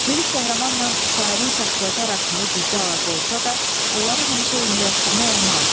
Lirik qəhrəmanla şairin şəxsiyyəti arasında güclü əlaqə olsa da, onları həmişə eyniləşdirmək olmaz.